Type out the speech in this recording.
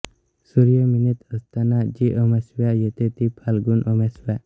सूर्य मीनेत असताना जी अमावास्या येते ती फाल्गुन अमावास्या